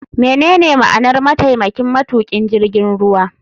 Menene ma'anar mataimakin matukin jirgin ruwa.